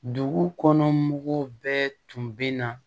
Dugu kɔnɔ mɔgɔw bɛɛ tun bɛ na